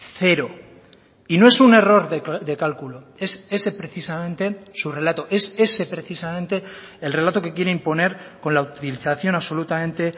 cero y no es un error de cálculo es ese precisamente su relato es ese precisamente el relato que quiere imponer con la utilización absolutamente